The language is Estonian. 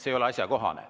See ei ole asjakohane.